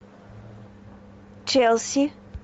челси